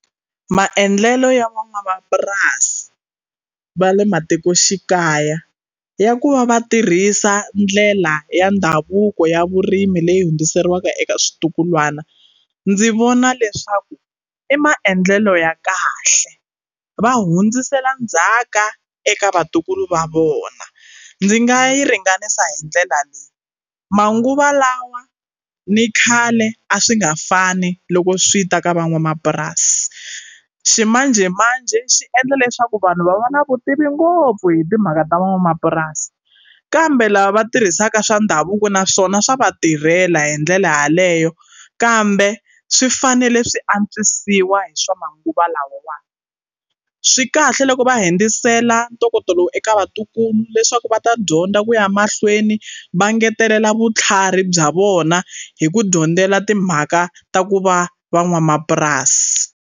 Maendlelo ya van'wamapurasi va le matikoxikaya ya ku va va tirhisa ndlela ya ndhavuko ya vurimi leyi hundziseriwa eka switukulwana ndzi vona leswaku i maendlelo ya kahle va hundzisela ndzhaka eka vatukulu va vona ndzi nga yi ringanisa hi ndlela leyi manguva lawa ni khale a swi nga fani loko swi ta ka van'wamapurasi ximanjhemanjhe swi endla leswaku vanhu va va na vutivi ngopfu hi timhaka ta van'wamapurasi kambe lava va tirhisaka swa ndhavuko naswona swa va tirhela hi ndlela yaleyo kambe swi fanele swi antswisiwa hi swa manguva lawawani swi kahle loko va hundzisela ntokoto lowu eka vatukulu leswaku va ta dyondza ku ya mahlweni va ngetelela vutlhari bya vona hi ku dyondzela timhaka ta ku va van'wamapurasi.